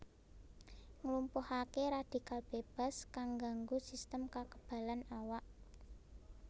Nglumpuhaké radhikal bébas kang ngganggu sistem kakebalan awak